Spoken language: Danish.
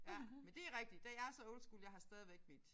Ja men det rigtigt der jeg så old school jeg har stadigvæk mit